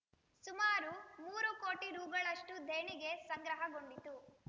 ಸುಮಾರು ಮೂರು ಕೋಟಿ ರುಗಳಷ್ಟುದೇಣಿಗೆ ಸಂಗ್ರಹಗೊಂಡಿತು